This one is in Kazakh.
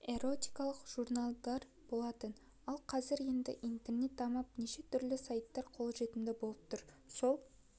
эротикалық журналдар болатын ал қазір енді интернет дамып неше түрлі сайттар қолжетімді болып тұр сол